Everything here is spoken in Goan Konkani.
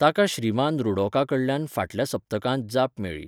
ताका श्रीमान रुडॉकाकडल्यान फाटल्या सप्तकांत जाप मेळ्ळी